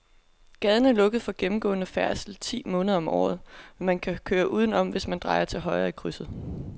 Gaden er lukket for gennemgående færdsel ti måneder om året, men man kan køre udenom, hvis man drejer til højre i krydset.